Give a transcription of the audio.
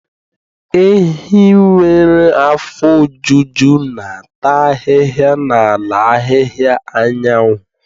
Ehi nwere afọ ojuju na-ata ahịhịa n'ala ahịhịa anyanwụ.